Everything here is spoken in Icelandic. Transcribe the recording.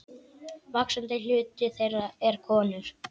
Vaxandi hluti þeirra er konur.